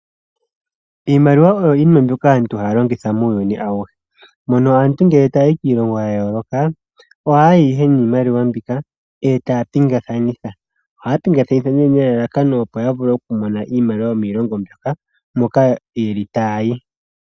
Iiimaliwa oyo yimwe mbyoka aantu haya longitha muuyuni auhe. Mono aantu ngele tayayi kiilongo yayooloka , ohaya yi ihe niimaliwa mbyoka , etaya pingakanitha. Ohaya pingakanitha nelalakano opo yavule okumona iimaliwa yomoshilongo moka yuuka.